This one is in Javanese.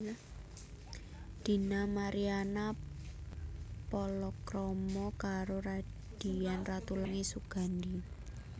Dina Mariana palakrama karo Radian Ratulangi Sugandi